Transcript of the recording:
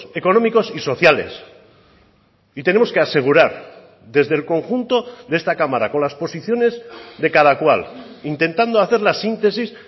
económicos y sociales y tenemos que asegurar desde el conjunto de esta cámara con las posiciones de cada cual intentando hacer la síntesis